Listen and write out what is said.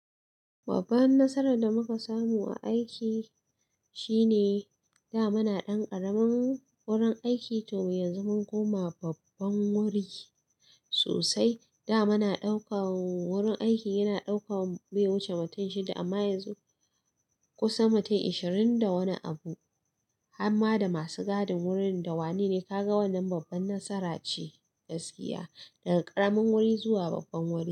Babban nasarar da muka samu a aiki shine da muna dan ƙaramin gurin aiki to yanzu mun koma babban wuri sosai. Da muna daukan wurin aiki yana daukan bai huce mutum shida amma yanzu kusan mutum ishirin da wani abu. Hamma da masu gadin wurin da wanene kaga wannan babbar nasara ce gaskiya, daga ƙaramin wuri zuwa babban wuri.